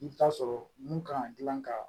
I bɛ taa sɔrɔ mun kan ka gilan ka